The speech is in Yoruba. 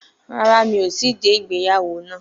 Rárá, mi ò tíì dé ìgbéyàwó náà